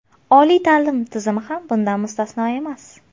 Oliy ta’lim tizimi ham bundan mustasno emas.